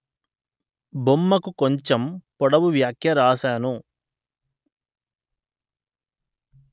బొమ్మకు కొంచెం పొడవు వ్యాఖ్య వ్రాశాను